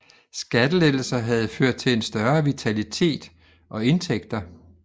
Skattelettelser havde ført til en større vitalitet og indtægter